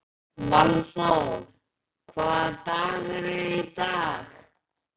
Valþór, hvaða dagur er í dag?